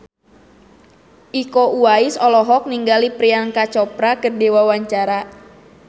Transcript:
Iko Uwais olohok ningali Priyanka Chopra keur diwawancara